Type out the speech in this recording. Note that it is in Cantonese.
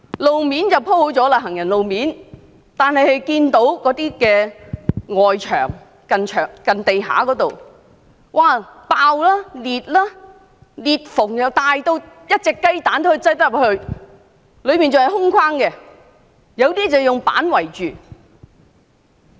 我看到行人路面雖已鋪妥，但接近地面的外牆仍然爆裂，裂縫大得可放入雞蛋，中間還要是空心的，有些則以板子圍起。